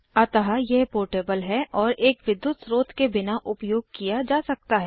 अतः यह पोर्टेबल है और एक विद्युत स्रोत के बिना उपयोग किया जा सकता है